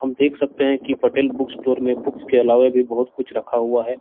हम देख सकते है की पटेल बुक स्टोर में बुक्स के अलावा भीं बहुत कुछ रखा हुआ है।